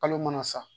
Kalo mana sa